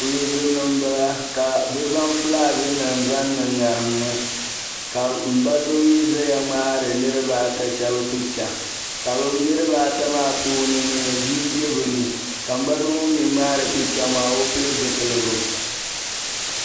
Kuligini n bala ka bɛ zaŋ fulaaginim n niŋ ŋariŋ ni ka m ba so mi ʒɛya ŋmaari niribaa a ta picha ka niriba ata puuni bii bɛ ni ka m ba so ŋun ŋmaari picha maao pili zipiligu